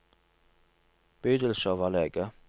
bydelsoverlege